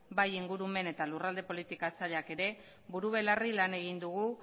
bai ingurumen eta lurralde politika sailak ere buru belarri lan egin dugu